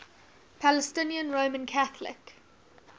palestinian roman catholic